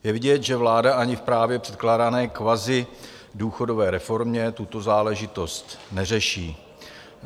Je vidět, že vláda ani v právě předkládané kvazidůchodové reformě tuto záležitost neřeší.